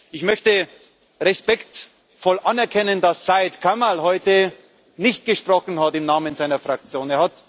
Ich möchte respektvoll anerkennen, dass Syed Kamall heute nicht gesprochen hat im Namen seiner Fraktion.